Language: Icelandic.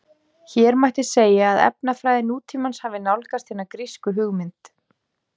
Hér mætti segja að efnafræði nútímans hafi nálgast hina grísku hugmynd.